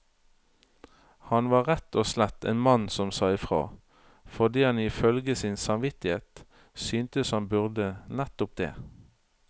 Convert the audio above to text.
Han var rett og slett en mann som sa ifra, fordi han ifølge sin samvittighet syntes han burde nettopp det.